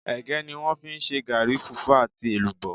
Ègé ni wón fi n se gaàri, fùfú àti èlùbó